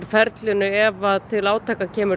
ferlinu ef til átaka kemur